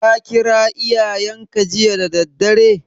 Ka kira iyayenka jiya da daddare?